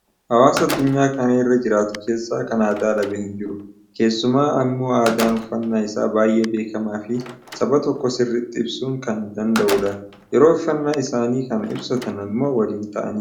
Hawaasaa addunyaa kana irra jiraatu keessaa kan aadaa dhabe hin jiru. Keessumaa immoo aadaan uffannaa isa baay'ee beekamaa fi saba tokko sirriitti ibsuu kan danada'udha. Yeroo uffannaa isaanii kana ibsatan immoo waliin ta'aniiti.